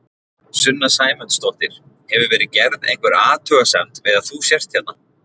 Sunna Sæmundsdóttir: Hefur verið gerð einhver athugasemd við að þú sért hérna?